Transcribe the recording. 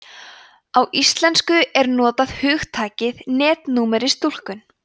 á íslensku er notað hugtakið netnúmerstúlkun